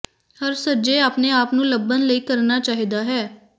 ਹਰ ਸੱਜੇ ਆਪਣੇ ਆਪ ਨੂੰ ਲੱਭਣ ਲਈ ਕਰਨਾ ਚਾਹੀਦਾ ਹੈ